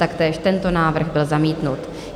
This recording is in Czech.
Taktéž tento návrh byl zamítnut.